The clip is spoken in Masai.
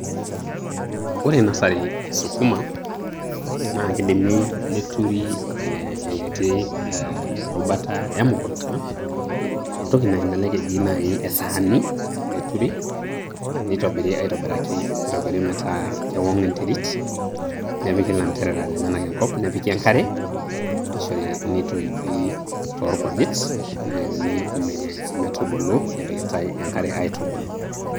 Ore nasari esukuma, na kidimi neturi enkiti rubata emukunta, entoki na kelelek eji naaji esaani ,neturi nitobiri aitobiraki nitobiri meeta kewong enterit nepiki ilanterera lenyana enkop nepiki enkare neishori neitopii tolkujit neanyuni me metubulu nepiki ta enkare aitubulu.